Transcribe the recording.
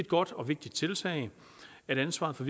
godt og vigtigt tiltag at ansvaret for